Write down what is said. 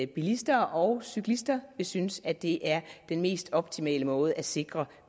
bilister og cyklister vil synes at det er den mest optimale måde at sikre